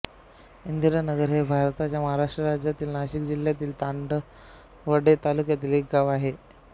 इंदिरानगर हे भारताच्या महाराष्ट्र राज्यातील नाशिक जिल्ह्यातील चांदवड तालुक्यातील एक गाव आहे